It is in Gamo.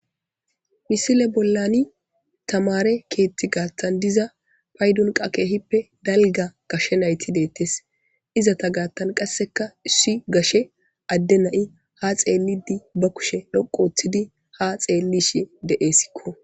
misile bollani tamare keetti gaattan diza paydon qakehippe dalga gashshe nayti deettes izata gaattan qasseka issi gashe adde nai ha xeelidi ba kushe dhoqoththidi ha xeellishe deessikko